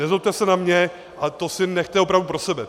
Nezlobte se na mě, ale to si nechte opravdu pro sebe.